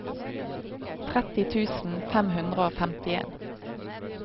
tretti tusen fem hundre og femtien